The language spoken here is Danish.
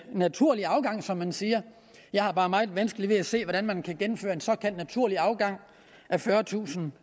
naturlig afgang som man siger jeg har bare meget vanskeligt ved at se hvordan man kan gennemføre en såkaldt naturlig afgang af fyrretusind